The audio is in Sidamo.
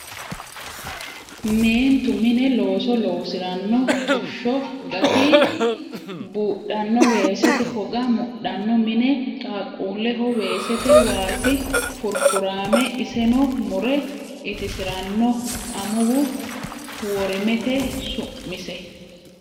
Meentu mine looso loosirano xusho gati budhano weesete hoga mudhano mine qaaqquleho weesete waasi furifurame iseni murre ittisirano amuwu worimete su'mise.